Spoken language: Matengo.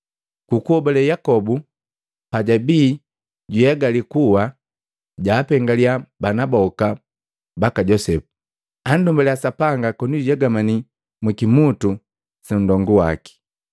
Ku kuhobale Yakobu pajabii juegale kuwa, jaapengaliya bana boka baka Josepu, andumbaliya Sapanga koni jujegamane mu kimutu sa ndonga jaki.